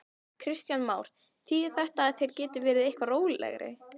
Kristján Már: Þýðir þetta að þeir geti verið eitthvað rólegri?